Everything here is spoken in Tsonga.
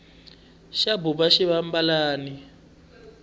xa buba xivambalani